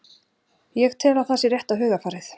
Ég tel að það sé rétta hugarfarið,